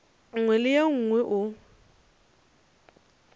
nngwe le ye nngwe o